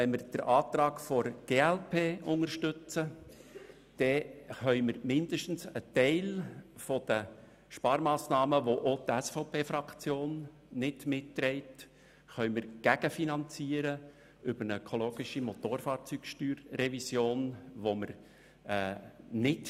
Wenn wir den Eventualantrag Köpfli unterstützen, können wir zumindest einen Teil der Sparmassnahmen, der auch von der SVP-Fraktion nicht mitgetragen wird, über eine ökologische Motorfahrzeugsteuer-Revision gegenfinanzieren.